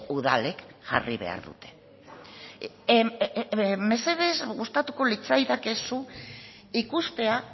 udalek jarri behar dute mesedez gustatuko litzaidake zu ikustea